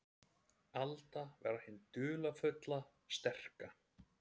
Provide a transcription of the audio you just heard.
Alda var hin dularfulla, sterka.